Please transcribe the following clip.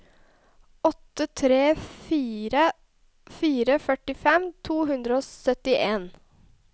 åtte tre fire fire førtifem to hundre og syttien